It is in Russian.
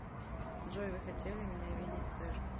джой вы хотели меня видеть сэр